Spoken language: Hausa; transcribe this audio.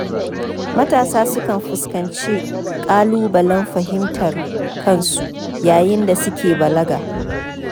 Matasa sukan fuskanci ƙalubalen fahimtar kansu yayin da suke balaga.